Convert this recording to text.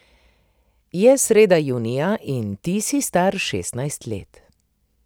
Je sreda junija in ti si star šestnajst let.